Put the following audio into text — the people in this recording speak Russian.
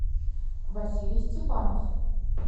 василий степанов